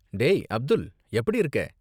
டேய், அப்துல், எப்படி இருக்கே?